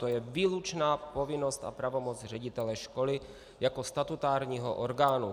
To je výlučná povinnost a pravomoc ředitele školy jako statutárního orgánu.